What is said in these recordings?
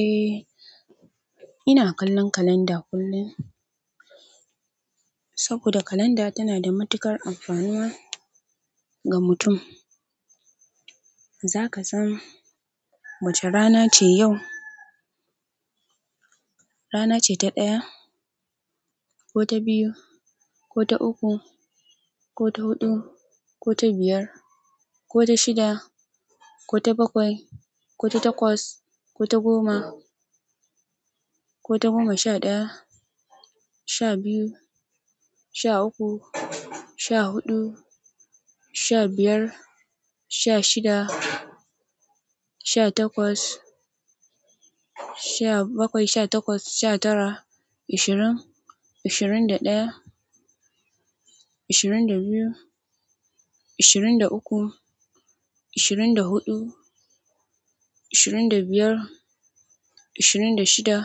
Eh, ina kallon kalanda kullum saboda kalanda tana da matuƙar amfanuwa ga mutum. Za ka san wace rana ce yau. Rana ce ta ɗaya, ko ta biyu, ko ta uku, ko ta huɗu, ko ta biyar, ko ta shida, ko ta bakwai, ko ta takwas, ko ta goma, ko ta goma sha ɗaya, sha biyu, sha uku, sha huɗu, sha biyar, sha shida, sha takwas, sha bakwai sha takwas, sha tara, ashirin, ashirin da ɗaya, ashirin da biyu, ashirin da uku, ashirin da huɗu, ashirin da biyar, ashirin da shida,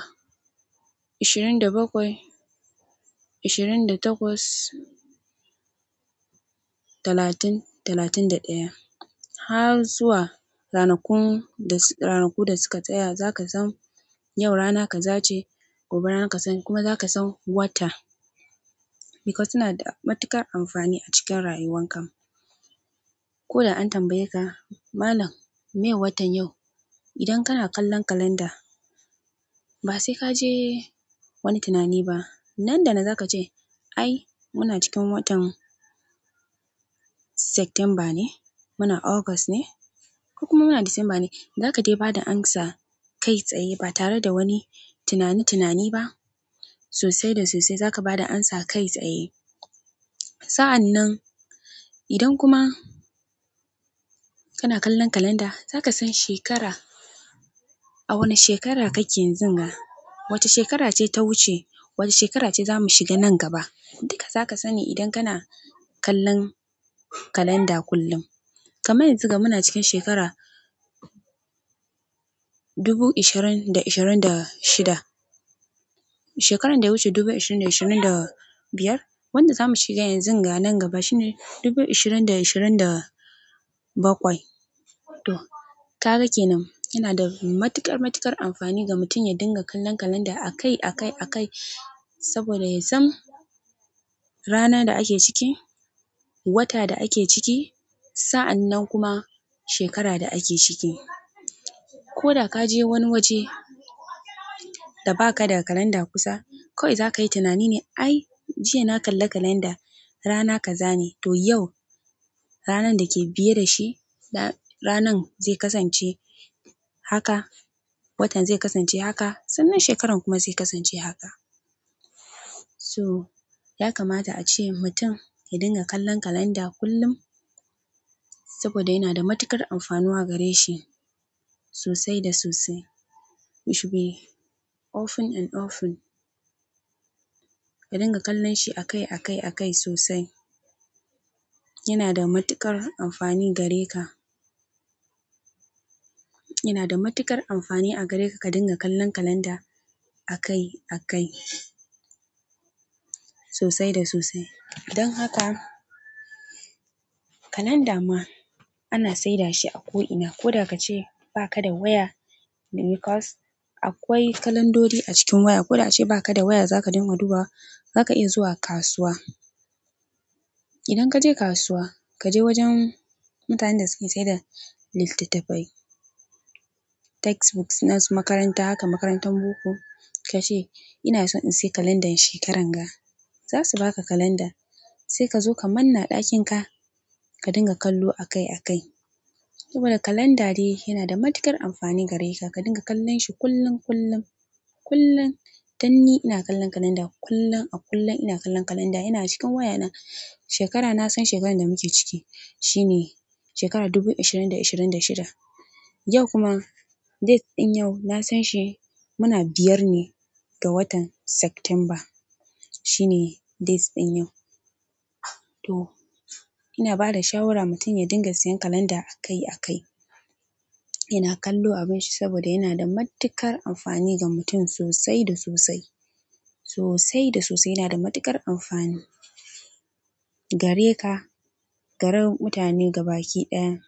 ashirin da bakwai, ashirin da takwas, talatin, talatin da ɗaya har zuwa ranakun da, ranaku da suka tsaya. Za ka san yau rana ka zace gobe rana ka sani kuma za ka san wata because suna da matuƙar amfani a cikin rayuwan kan. Ko da an tambayeka malan meye watan yau. Idan kana kallon kalanda ba sai ka je wani tunani ba. Nan da nan za ka ce ai muna cikin watan Sectember ne, muna August ne ko kuma muna December ne. Za ka dai bada amsa kai tsaye ba tare da wani tunani tunani ba. Sosai da sosai za ka bada amsa kai tsaye. Sa'an nan idan kuma kana kallon kalanda za ka san shekara a wane shekara kake yanzunga. Wace shekara ce ta wuce, wace shekara ce za mu shiga nan gaba. Duka za ka sani idan kana kallon kalanda kullum. Kamar yanzunga muna cikin shekara dubu ishirin da ishirin da shida. Shekaran da ya wuce dubu ishirin da ishirin da biyar. Wanda zamu shiga yanzunga nan gaba shine dubu ishirin da ishirin da bakwai. To kaga kenan, yana da matuƙar matuƙar amfani ga mutum ya dinga kallon kalanda akai akai akai saboda ya san rana da ake ciki, wata da ake ciki, sa'an nan kuma shekara da ake ciki. Ko da ka je wani waje da ba ka da kalanda kusa kawai za ka yi tunani ne ai jiya na kalla kalanda rana ka zane to yau ranan da ke biye da shi ranan zai kasance haka, watan zai kasance haka sannan shekaran kuma zai kasance haka. So ya kamata a ce mutum ya dinga kallon kalanda kullum saboda yana da matuƙar amfanuwa gare shi sosai da sosai. Which be often and often. Ka dinga kallon shi akai akai akai sosai. Yana da matuƙar amfani gare ka. Yana da matuƙar amfani a gare ka, ka dinga kallon kalanda akai akai sosai da sosai. Dan haka kalanda ma ana saida shi a ko ina koda kace baka da waya because akwai kalandodi a cikin waya. Ko da a ce ba ka da waya za ka dinga dubawa za ka iya zuwa kasuwa. Idan ka je kasuwa ka je wajen mutanen da suke saida littattafai textbooks na su makaranta haka makarantan boko ka ce ina so in sayi kalandan shekaran ga. Za su ba ka kalanda. Sai ka zo ka manna a ɗakin ka, ka dinga kallo akai akai saboda kalanda de yana da matuƙar amfani gare ka. Ka dinga kallon shi kullum kullum. Kullum, danni ina kallon kalanda. Kullun a kullun ina kallon kalanda. Ina cikin waya na shekara na san shekarar da muke ciki shine shekarar dubu ishirin da ishirin da shida. Yau kuma dates ɗin yau na san shi muna biyar ne ga watan September shine dates ɗin yau. To ina bada shawara mutum ya dinga siyan kalanda akai akai. Yana kallo abin shi saboda yana da matuƙar amfani ga mutun sosai da sosai. Sosai da sosai yana da matuƙar amfani gare ka, gare mutane gaba ki ɗaya.